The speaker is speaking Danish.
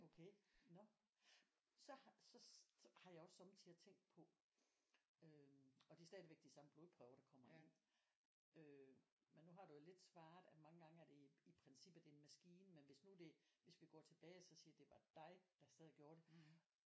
Okay nåh så har så har jeg også sommetider tænkt på øh og det er stadigvæk de samme blodprøver der kommer ind øh men nu har du jo lidt svaret at mange gange er det i i princippet en maskine men hvis nu det hvis vi går tilbage og så siger det var dig der sad og gjorde det